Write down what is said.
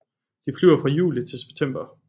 De flyver fra juli til september